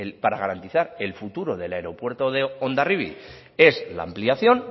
para garantizar el futuro del aeropuerto de hondarribi es la ampliación